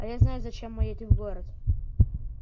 а я знаю зачем мы едем в город